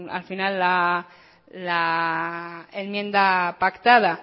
al final la enmienda pactada